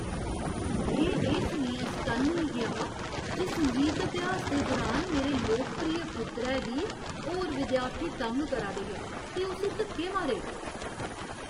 में एह् सुनियै सटन्न होई गेआ हा जे संगीत अभ्यास दे दुरान मेरे लोकप्रिय पुत्तरै गी होर विद्यार्थी तंग करा दे हे ते उस्सी धक्के मारे ।